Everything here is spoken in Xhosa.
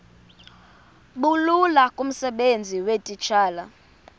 bulula kumsebenzi weetitshala